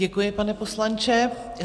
Děkuji, pane poslanče.